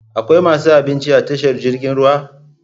Akwai masu abinci a tashar jirgin ruwa?